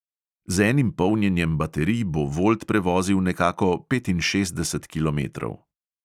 Z enim polnjenjem baterij bo volt prevozil nekako petinšestdeset kilometrov.